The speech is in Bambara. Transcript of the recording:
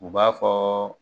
U b'a fɔ